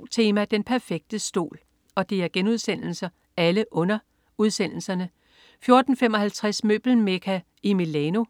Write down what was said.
DR2 Tema: Den perfekte stol* 14.55 Møbelmekka i Milano*